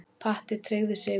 Patti tryggði sigurinn.